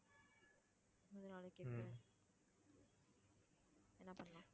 என்ன பண்ணலாம்?